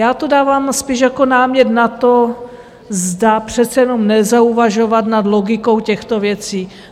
Já to dávám spíš jako námět na to, zda přece jenom nezauvažovat nad logikou těchto věcí.